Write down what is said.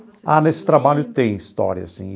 Ah, nesse trabalho tem história, sim.